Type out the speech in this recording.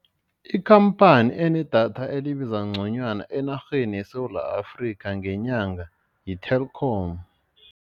Ikhamphani enedatha elibiza nconywana enarheni yeSewula Afrika ngenyanga yi-Telkom.